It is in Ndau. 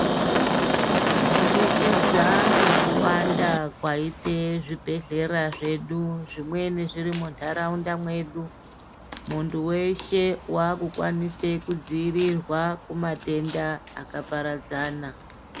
Kubudikidza ngekuwanda kwaita zvibhedhlera zvedu zvimweni zviri mundaraunda mwedu muntu weshe wakukwanisa kudzivirirwa kumatenda akaparadzana.